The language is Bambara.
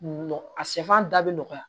Nɔgɔ a sɛfan da bɛ nɔgɔya